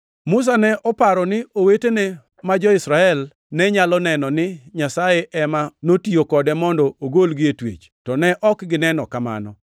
Musa ne oparo ni owetene ma jo-Israel ne nyalo neno ni Nyasaye ema notiyo kode mondo ogolgi e twech, to ne ok gineno kamano.